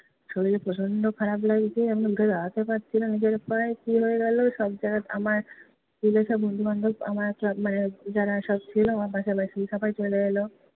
শরীর প্রচণ্ড খারাপ লাগছে, আমি উঠে দাঁড়াতে পারছি না নিজের পায়ে, কী হয়ে গেলো! সব যারা আমার স্কুলের সব বন্ধুবান্ধব আমার মানে যারা সব ছিলো আমার পাশাপাশি সবাই চলে এল।